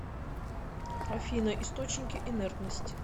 афина источники инертность